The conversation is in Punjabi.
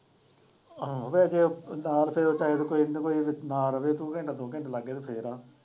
ਆਹੋ ਵੈਸੇ ਨਾਲ ਫਿਰ ਕੋਈ ਨਾ ਕੋਈ ਨਾਲ ਰਹੇ ਫਿਰ ਆ।